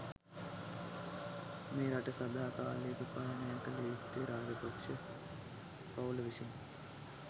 මේ රට සදා කාලිකව පාලනය කල යුත්තේ රාජපක්ෂ පවුල විසිනි